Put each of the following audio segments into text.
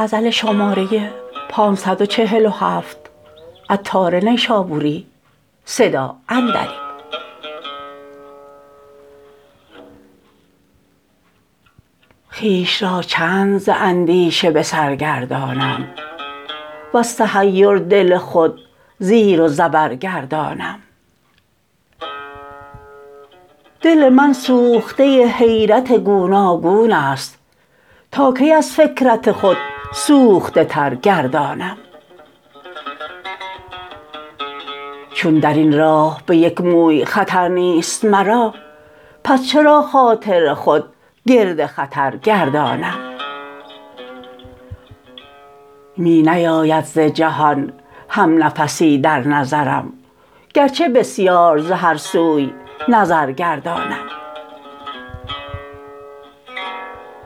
خویش را چند ز اندیشه به سر گردانم وز تحیر دل خود زیر و زبر گردانم دل من سوخته حیرت گوناگون است تا کی از فکرت خود سوخته تر گردانم چون درین راه به یک موی خطر نیست مرا پس چرا خاطر خود گرد خطر گردانم می نیاید ز جهان هم نفسی در نظرم گرچه بسیار ز هر سوی نظر گردانم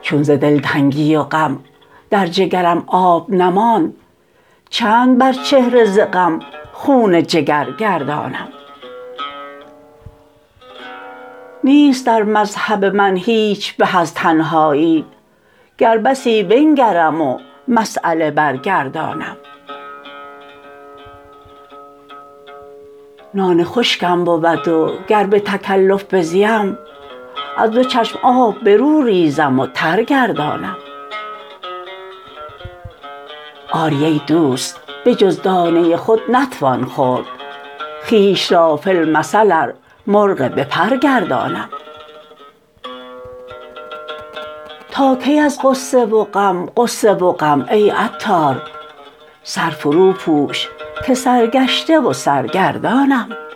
چون ز دلتنگی و غم در جگرم آب نماند چند بر چهره ز غم خون جگر گردانم نیست در مذهب من هیچ به از تنهایی گر بسی بنگرم و مسیله برگردانم نان خشکم بود و گر به تکلف بزیم از دو چشم آب برو ریزم و تر گردانم آری ای دوست به جز دانه خود نتوان خورد خویش را فی المثل ار مرغ بپر گردانم تا کی از غصه و غم غصه و غم ای عطار سر فرو پوش که سرگشته و سرگردانم